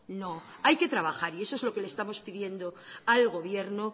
no hay que trabajar y eso es lo que le estamos pidiendo al gobierno